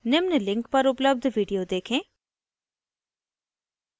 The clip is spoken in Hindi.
निम्न link पर उपलब्ध video देखें